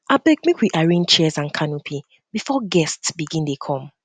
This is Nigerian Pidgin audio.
abeg make we arrange chairs and canopy before guests begin dey come